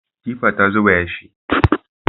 Tifa ta zuba yashi.